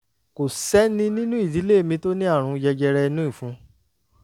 kò sẹ́ni nínú ìdílé mi tó ní àrùn jẹjẹrẹ inú ìfun